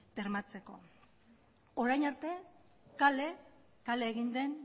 bermatzeko eta orain arte kale egin den